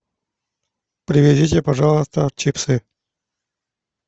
привезите пожалуйста чипсы